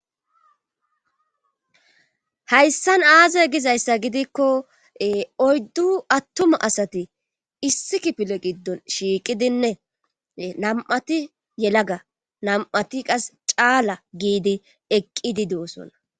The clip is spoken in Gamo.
hayssan aaze gizayssa gidikko oyddu attuma asati issi kifile giddon shiiqidinne nam7ati yelaga nam7ati qas caala giidi eqqidi doosona